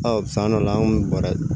san dɔ la an kun bɛ bɔrɛ